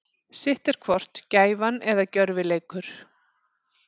Sitt er hvort gæfa eða gjörvileikur.